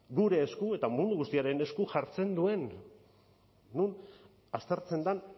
gure esku eta mundu guztiaren esku jartzen duen non aztertzen den